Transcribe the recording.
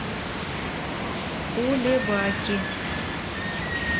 кулебаки